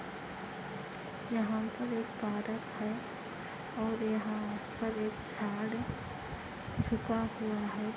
यहाँ पर एक पार्क है और यहाँ पर एक झाड़ है झुका हुआ है |